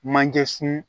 Manje sun